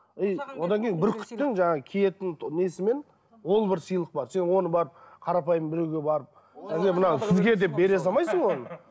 и одан кейін бүркіттің жаңағы киетін несімен ол бір сыйлық бар сен оны барып қарапайым біреуге барып міне мынау сізге деп бере салмайсың оны